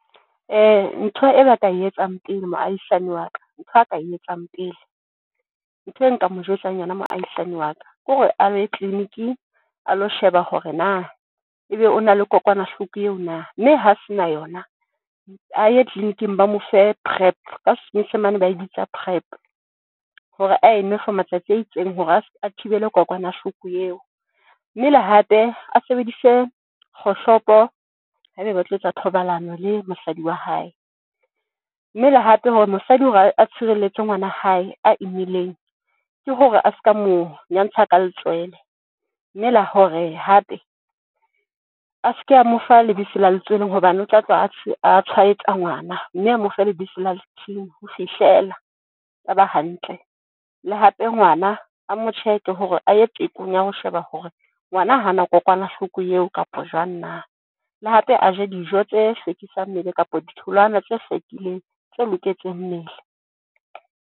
Ntho e ba ka e etsang pele moahisani wa ka, ntho a ka e etsang pele ntho e nka mo jwetsang yona moahisani wa ka, kore a ye clinic-ing a lo sheba hore na ebe o na le kokwanahloko eo na? Mme ha se na yona a ye clinic-ing ba mo fe PrEP ka senyesemane ba e bitsa PrEP hore a e nwe for matsatsi a itseng hore as a thibele kokwanahloko eo. Mmele le hape a sebedise kgohlopo haebe ba tlo etsa thobalano le mosadi wa hae, mme le hape hore mosadi hore a tshireletse ngwana wa hae a imileng, ke hore a ska, mo nyantsha ka letswele. Mme la hore hape a seke a mo fa lebitso la letsweleng hobane o tla tloha a, a tshwaetsa ngwana mme a mo fe lebitso la ho fihlela a ba hantle. Le hape ngwana a mo check-e hore a ye tekong ya ho sheba hore ngwana hana nako kokwanahloko eo kapa jwang na? Le hape a je dijo tse hlwekisang mmele kapa ditholwana tse hlwekileng tse loketseng mmele.